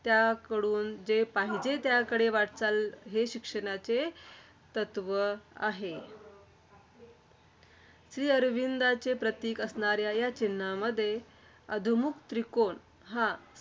त्याकडून जे पाहिजे त्याकडे वाटचाल हे शिक्षणाचे तत्त्व आहे. श्रीअरविंदांचे प्रतीक असणाऱ्या ह्या चिन्हामध्ये, अधोमुख त्रिकोण हा